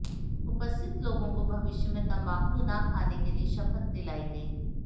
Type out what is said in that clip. उपस्थित लोगों को भविष्य में तम्बाकू न खाने के लिए शपथ दिलायी गयी